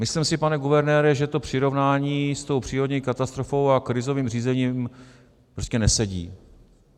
Myslím si, pane guvernére, že to přirovnání s tou přírodní katastrofou a krizovým řízením prostě nesedí.